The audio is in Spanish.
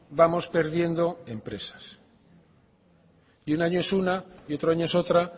vamos perdiendo empresas y un año es una y otro año es otra